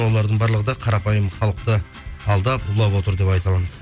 олардың барлығы да қарапайым халықты алдап улап отыр деп айта аламын